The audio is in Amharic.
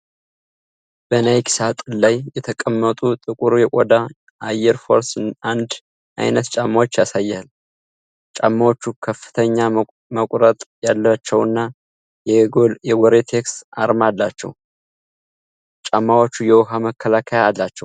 በናይኪሳጥን ላይ የተቀመጡ ጥቁር የቆዳ አየር ፎርስ 1 ዓይነት ጫማዎችን ያሳያል። ጫማዎቹ ከፍተኛ መቁረጥ ያላቸውና የጎሬቴክስ አርማ አላቸው። ጫማዎቹ የውሃ መከላከያ አላቸው?